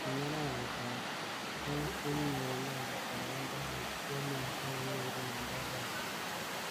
Eng arawet ab aengkokinyor inendet boroindo koityi emenyi ak koureren eng talasiet.